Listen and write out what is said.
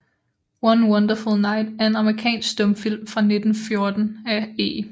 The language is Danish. One Wonderful Night er en amerikansk stumfilm fra 1914 af E